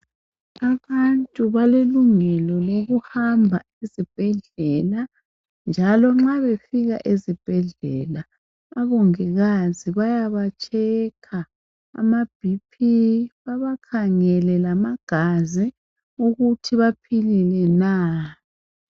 Abantu balelungelo lokuhamba ezibhedlela njalo nxa befika ezibhedlela abongikazi bayabatsheka ama BP babakhangele lamagazi ukuthi baphilile na.